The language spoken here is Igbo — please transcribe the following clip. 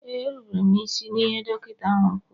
Ee, m rubere isi n'ihe dọkịta ahụ kwuru